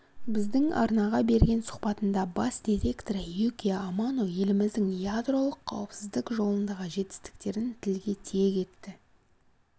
біздің арнаға берген сұхбатында бас директоры юкия амано еліміздің ядролық қауіпсіздік жолындағы жетістіктерін тілге тиек етті